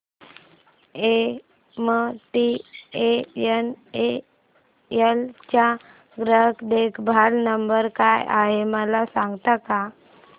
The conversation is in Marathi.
एमटीएनएल चा ग्राहक देखभाल नंबर काय आहे मला सांगता का